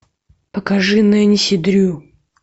покажи нэнси дрю